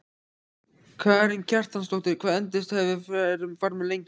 Karen Kjartansdóttir: Hvað endist hver farmur lengi?